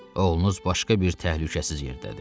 Oğlunuz başqa bir təhlükəsiz yerdədir.